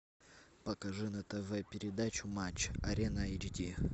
покажи на тв передачу матч арена эйч ди